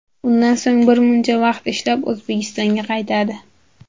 Undan so‘ng bir muncha vaqt ishlab, O‘zbekistonga qaytadi.